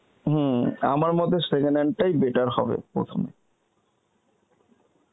হম আমার মতে second hand তাই better হবে প্রথম